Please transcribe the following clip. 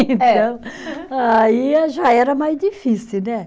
Então, aí já era mais difícil, né?